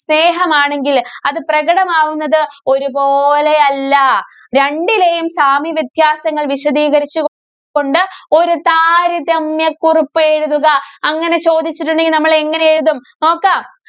സ്നേഹമാണെങ്കില് അത് പ്രകടമാവുന്നത് ഒരുപോലെയല്ല. രണ്ടിലെയും സാമ്യ വ്യത്യാസങ്ങള്‍ വിശദീ കരിച്ചു കൊണ്ട് ഒരു താരതമ്യ കുറിപ്പ് എഴുതുക. അങ്ങനെ ചോദിച്ചിട്ടുണ്ടെങ്കില്‍ നമ്മള്‍ എങ്ങനെ എഴുതും? നോക്കാം.